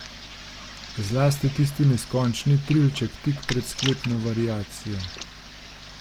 Zlasti tisti neskončni trilček tik pred sklepno variacijo.